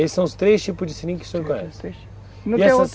Esses são os três tipos de seringa que você conhece?